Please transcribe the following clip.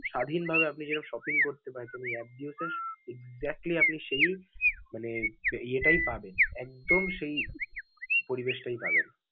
স্বাধীন ভাবে আপনি যেরকম shopping করতে পারেন, যে apps view দিয়েও exactly আপনি সেই মানে ইয়েটাই পাবেন. একদম সেই পরিবেশটাই পাবেন.